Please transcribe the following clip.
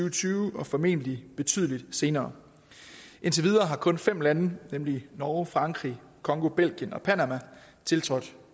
og tyve og formentlig betydelig senere indtil videre har kun fem lande nemlig norge frankrig congo belgien og panama tiltrådt